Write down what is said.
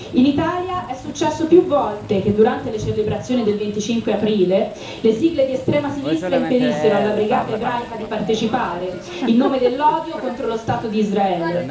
In Italia, è successo più volte che, durante le celebrazioni del 25 aprile, le sigle di estrema sinistra impedissero alla Brigata ebraica di partecipare, in nome dell'odio contro lo Stato di Israele.